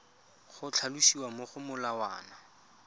go tlhalosiwa mo go molawana